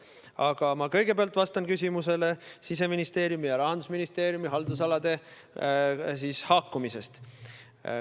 Aga ma kõigepealt vastan küsimusele Siseministeeriumi ja Rahandusministeeriumi haldusalade haakumisest.